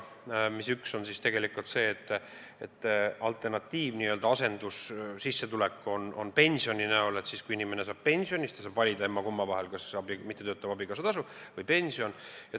Nendest üks on see, et kui on n-ö asendussissetulek pensioni kujul, st kui inimene saab pensioni, siis ta peab valima, kas ta saab mittetöötava abikaasa tasu või pensioni.